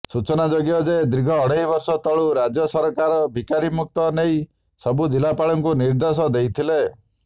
ସୂଚନାଯୋଗ୍ୟ ଯେ ଦୀର୍ଘ ଅଢ଼େଇବର୍ଷ ତଳୁ ରାଜ୍ୟ ସରକାର ଭିକାରିମୁକ୍ତ ନେଇ ସବୁ ଜିଲାପାଳମାନଙ୍କୁ ନିର୍ଦେଶ ଦେଇଥିଲେ